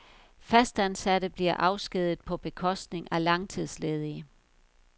Fastansatte bliver afskediget på bekostning af langtidsledige.